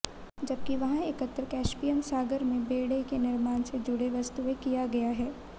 जबकि वहाँ एकत्र कैस्पियन सागर में बेड़े के निर्माण से जुड़ी वस्तुएं किया गया है